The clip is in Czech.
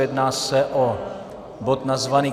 Jedná se o bod nazvaný